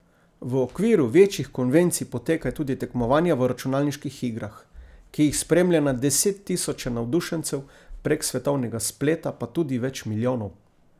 V okviru večjih konvencij potekajo tudi tekmovanja v računalniških igrah, ki jih spremlja na desettisoče navdušencev, prek svetovnega spleta pa tudi več milijonov!